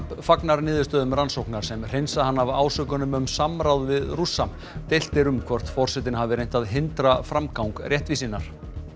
fagnar niðurstöðum rannsóknar sem hreinsa hann af ásökunum um samráð við Rússa deilt er um hvort forsetinn hafi reynt að hindra framgang réttvísinnar